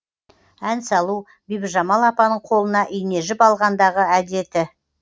ән салу бибіжамал апаның қолына ине жіп алғандағы әдеті